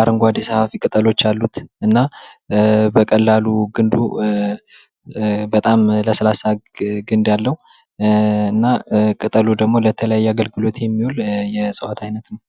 አረንጓዴ ሰፋፊ ቅጠሎች ያሉት በቀላሉ ግንዱ በጣም ለስላሳ እንዳለው እና ቅጠሉ ደግሞ ለተለያየ አገልግሎት የሚውል የዕጽዋት አይነት ነው።